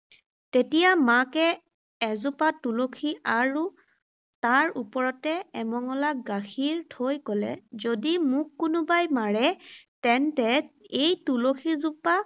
তেতিয়া মাকে এজোপা তুলসী আৰু তাৰ ওপৰতে এমঙলা গাখীৰ থৈ ক’লে, যদি মোক কোনোবাই মাৰে, তেন্তে এই তুলসীজোপা